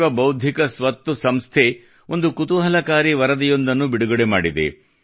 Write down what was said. ವಿಶ್ವ ಬೌದ್ಧಿಕ ಸ್ವತ್ತು ಸಂಸ್ಥೆ ಒಂದು ಕುತೂಹಲಕಾರಿ ವರದಿಯೊಂದನ್ನು ಬಿಡುಗಡೆ ಮಾಡಿದೆ